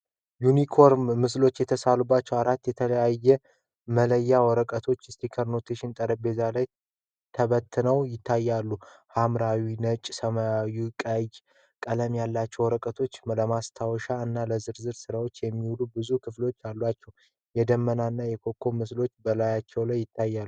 ዩኒኮርን (Unicorn) ምስሎች የተሳሉባቸው አራት የተለያዩ መለያያ ወረቀቶች (Sticky Notes) ጠረጴዛ ላይ ተበትነው ይታያሉ። ሐምራዊ፣ ነጭ፣ ሰማያዊ እና ቀይ ቀለም ያላቸው ወረቀቶች ለማስታወሻ እና ለዝርዝር ሥራ የሚውሉ ብዙ ክፍሎች አሏቸው፤ የደመናና የኮከብ ምስሎችም በላያቸው ይታያሉ።